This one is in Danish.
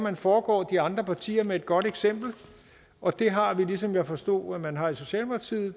at foregå de andre partier med et godt eksempel og det har vi ligesom jeg forstod at man har i socialdemokratiet